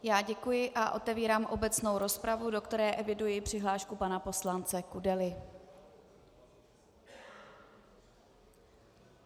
Já děkuji a otevírám obecnou rozpravu, do které eviduji přihlášku pana poslance Kudely.